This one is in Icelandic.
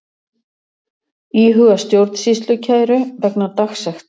Íhuga stjórnsýslukæru vegna dagsekta